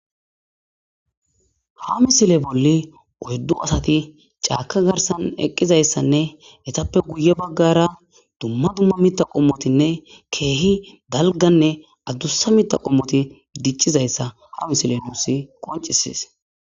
ha misile bolli oyddu asati caaka garsan eqqizayssanne hetappe guye baggara dumma dumma mita qommotinne keehi dalganne addussa mita qommoti diccizayssa ha misile nuusi qoncises